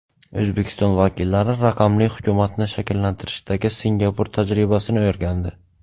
O‘zbekiston vakillari raqamli hukumatni shakllantirishdagi Singapur tajribasini o‘rgandi.